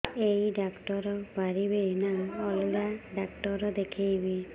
ଏଇ ଡ଼ାକ୍ତର ପାରିବେ ନା ଅଲଗା ଡ଼ାକ୍ତର ଦେଖେଇବି